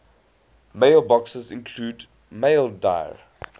mailboxes include maildir